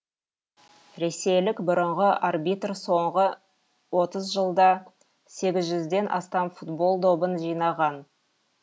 ресейлік бұрынғы арбитр соңғы отыз жылда сегіз жүзден астам футбол добын жинаған